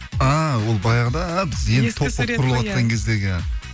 а ол баяғыда біз енді топ болып құрылыватқан кездегі